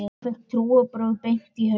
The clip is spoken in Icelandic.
Ég fékk trúarbrögð beint í hausinn.